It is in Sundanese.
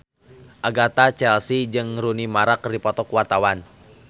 Agatha Chelsea jeung Rooney Mara keur dipoto ku wartawan